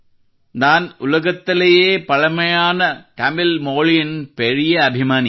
ನಾನ್ ಉಲಗತಲಯೇ ಪಲಮಾಯಾಂ ತಮಿಳ್ ಮೋಲಿಯನ್ ಪೇರಿಯೇ ಅಭಿಮಾನಿ